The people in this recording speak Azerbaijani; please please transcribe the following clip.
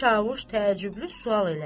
Çavuş təəccüblü sual elədi.